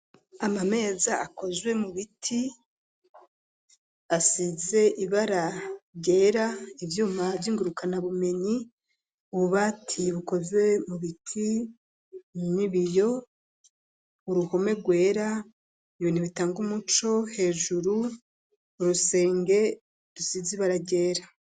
Ama meza akozwe mu biti ,asize ibara ryera ,ivyuma vyingurukana bumenyi ,ububati bukoze mu biti n'ibiyo uruhome rwera ,ibintu bitanga umuco hejuru urusenge rusize ibara ryera.